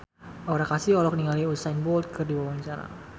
Aura Kasih olohok ningali Usain Bolt keur diwawancara